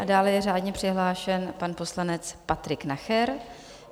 A dále je řádně přihlášen pan poslanec Patrik Nacher.